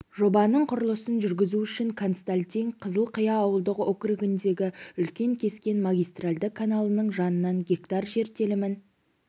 жобаның құрылысын жүргізу үшін консалтинг қызылқия ауылдық округіндегі үлкен кескен магистралды каналының жанынан гектар жер телімін